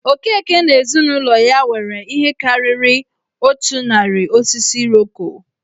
Okeke na ezinụlọ ya nwere ihe karịrị otu narị osisi Iroko.